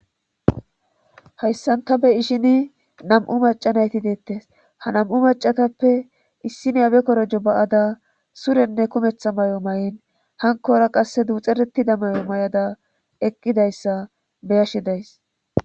Hayssanta be ishini nam'u macanayti deettes ha nam'u macatappe issineyabe korojo ba'ada surenne kumetha may'o may'in hankora qasse duuxeretida may'o may'ada eqqidayssa beyashidays.